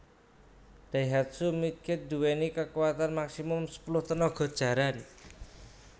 Daihatsu Midget nduweni kakuwatan maksimum sepuluh tenaga jaran